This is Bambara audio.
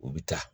U bi taa